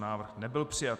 Návrh nebyl přijat.